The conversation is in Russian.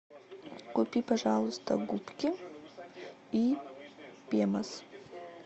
купи пожалуйста губки и пемос